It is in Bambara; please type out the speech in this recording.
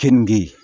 Keninge